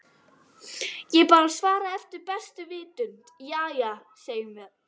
Ég bara svaraði eftir bestu vitund- Jæja, segjum það.